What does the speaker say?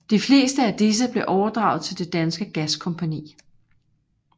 De fleste af disse blev overdraget til Det Danske Gaskompagni